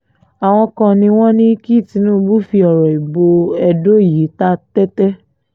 àwọn kan ni wọ́n ní kí tinúbù fi ọ̀rọ̀ ìbò edo yìí ta tẹ́tẹ́